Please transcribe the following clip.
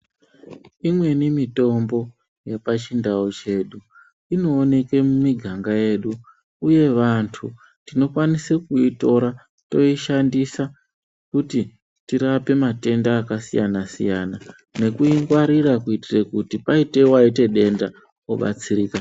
Imweni mitombo yepachindau chedu inooneke mumiganga yedu uye vantu tinokwanise kuitora toishandisa kuti tirape matenda akasiyana siyana nekuingwarira kuti paite Waite denda obatsirika.